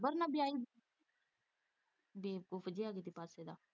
ਡੰਗਰ ਨਾਲ਼ ਵਿਆਹੀ ਦੀ ਬੇਵਕੂਵ ਜਿਹਾ ਕਿਸੇ ਪਾਸੇ ਦਾ।